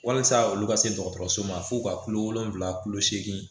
Walasa olu ka se dɔgɔtɔrɔso ma fo ka kulo wolonfila kulo segin